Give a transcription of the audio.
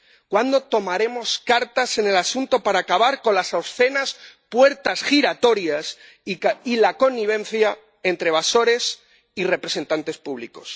¿Cuándo tomaremos cartas en el asunto para acabar con las obscenas puertas giratorias y la connivencia entre evasores y representantes públicos?